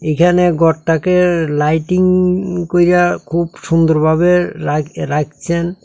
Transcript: এইখানে ঘরটাকে লাইটিং কইব়্যা খুব সুন্দরভাবে রাইখ রাইখছেন।